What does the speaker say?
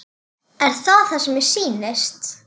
Er það sem mér sýnist?